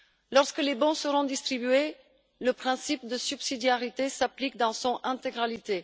Lorsque les bons seront distribués, le principe de subsidiarité s'applique dans son intégralité.